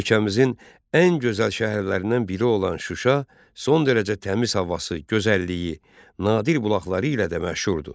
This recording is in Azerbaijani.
Ölkəmizin ən gözəl şəhərlərindən biri olan Şuşa, son dərəcə təmiz havası, gözəlliyi, nadir bulaqları ilə də məşhurdur.